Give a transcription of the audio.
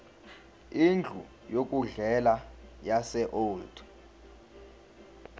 indlu yokudlela yaseold